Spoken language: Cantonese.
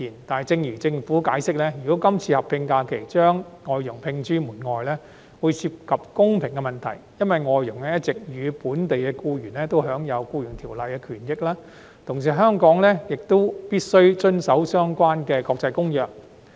但是，正如政府解釋，如果今次劃一假期將外傭摒諸門外，會涉及公平問題，因為外傭一直與本地僱員享有《僱傭條例》的權益，而香港亦必須遵守相關的國際公約。